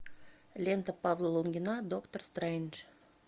лента павла лунгина доктор стрэндж